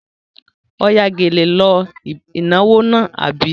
Ó ya gèlè lọ ìnáwó náà, àbí?